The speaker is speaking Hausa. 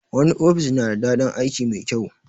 Wani ofis na da daɗin aiki mai kyau